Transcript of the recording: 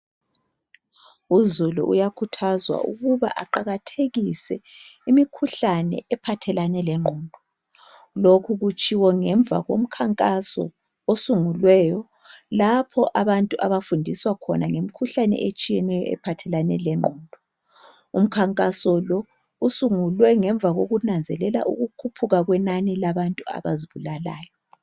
uzulu uyakhuthazwa ukuba aqakathekise imikhuhlane ephathelane lenqondo lokhu kutshiwo nemva komkhankaso osunguliweyo lapho abantu abafundiswa khona ngemikhuhlane etshiyeneyo ephathelane le nqondo umkhankaso lo usungulwe ngemva kokunanzelela ukukhuphuka kwenani labantu abazibulalayo